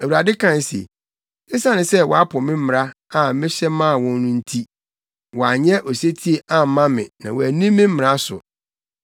Awurade kae se, “Esiane sɛ wɔapo me mmara a mehyɛ maa wɔn no nti, wɔanyɛ osetie amma me na wɔanni me mmara so.